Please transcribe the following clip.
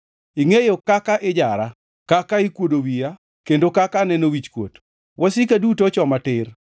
Ingʼeyo kaka ijara, kaka ikuodo wiya kendo kaka aneno wichkuot; wasika duto ochoma tir.